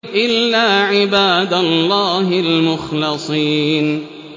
إِلَّا عِبَادَ اللَّهِ الْمُخْلَصِينَ